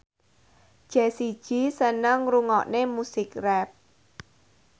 Jessie J seneng ngrungokne musik rap